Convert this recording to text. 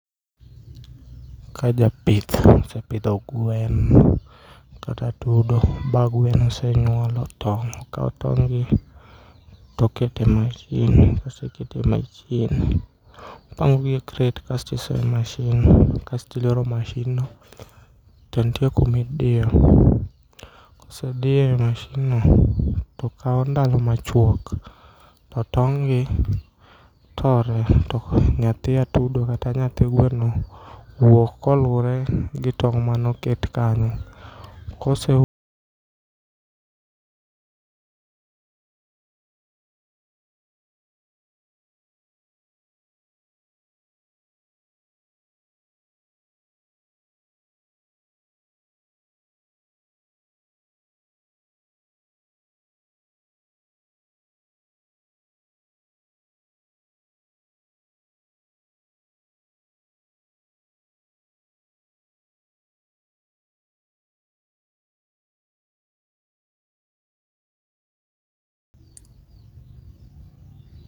Ka japith osepidho gwen kata atudo ba gweno osenyuolo tong' okao tong'gi tokete machine, kosekete machine opangogi e kret kasto osoye machine kasto iloro machine no to ntie kumidio kosedie mashinno to kao nalo machuok to tong'gi tore. To nyathi atudo kata nyathi gweno wuok kolure gi tong' manoket kanyo kose